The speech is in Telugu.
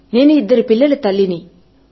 నేను ఇద్దరు పిల్లల తల్లిని